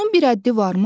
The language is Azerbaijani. Bunun bir həddi varmı?